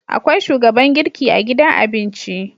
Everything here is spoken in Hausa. Akwai shugaban girki a gidan abinci